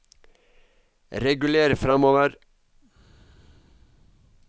reguler framover